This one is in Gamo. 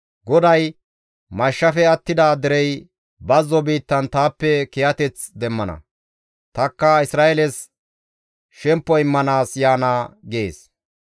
GODAY, «Mashshafe attida derey bazzo biittan taappe kiyateth demmana; tanikka Isra7eeles shemppo immanaas yaana» gees.